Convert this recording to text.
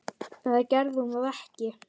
Eða gerði hún það ekki?